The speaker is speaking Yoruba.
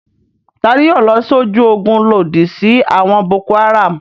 Ta ni yóò lọ sójú ogun lòdì sí àwọn Boko-Haram?